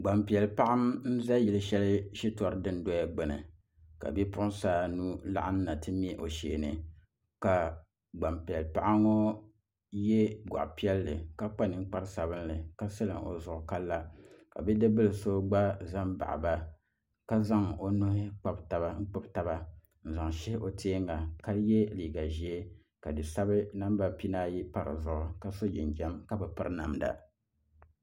Gbanpiɛli paɣa n ʒɛ yili shɛli shitɔri dundoya gbuni ka bipuɣunsi anu laɣam na tu mɛ o shee ni ka gbanpiɛli paɣa ŋɔ yɛ gɔɣa piɛlli ka kpa ninkpari sabinli ka silim o zuɣu ka la ka bidib bili so gba ʒɛ n baɣaba ka zaŋ o nuhi kpubi taba n zaŋ shihi o teenga ka yɛ liiga ʒiɛ ka di sabi namba pinaayi pa dizuɣu ka yɛ liiga ʒiɛ ka bi piri namda